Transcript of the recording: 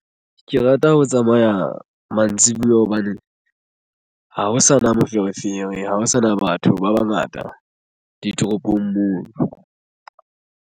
Ke rata ho tsamaya mantsibuya hobane ha ho sana moferefere. Ha ho sana batho ba bangata ditoropong moo.